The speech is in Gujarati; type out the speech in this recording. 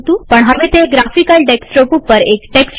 પણ હવે તે ગ્રાફિકલ ડેસ્કટોપ ઉપર એક ટેક્સ્ટ વિન્ડો છે